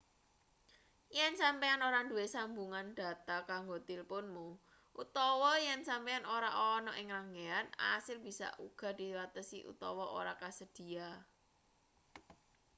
yen sampeyan ora duwe sambungan dhata kanggo tilpunmu utawa yen sampeyan ora ana ing ranggehan asil bisa uga diwatesi utawa ora kasedhiya